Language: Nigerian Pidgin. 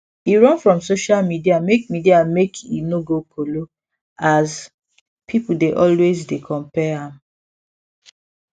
e run from social media make media make e no go kolo as people dey always dey compare am